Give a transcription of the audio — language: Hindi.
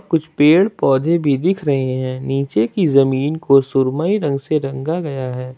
कुछ पेड़ पौधे भी दिख रहे हैं नीचे की जमीन को सुरमई रंग से रंगा गया है।